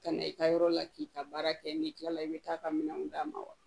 Ka na i ka yɔrɔ la k'i ka baara kɛ n'i kilala i bɛ taa ka minɛnw d'a ma wa